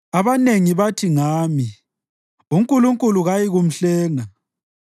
Abanengi bathi ngami, “UNkulunkulu kayikumhlenga.”